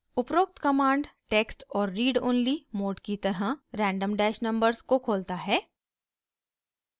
उपरोक्त command text और read only mode की तरह randomnumbers को खोलता है